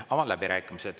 Avan läbirääkimised.